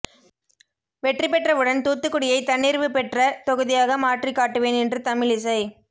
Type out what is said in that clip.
வெற்றி பெற்ற உடன் தூத்துக்குடியை தன்னிறைவு பெற்ற தொகுதியாக மாற்றிக் காட்டுவேன் என்று தமிழிசை